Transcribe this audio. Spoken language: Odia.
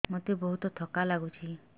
ମୋତେ ବହୁତ୍ ଥକା ଲାଗୁଛି